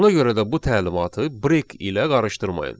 Ona görə də bu təlimatı break ilə qarışdırmayın.